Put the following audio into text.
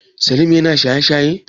Salim yana shaye shaye?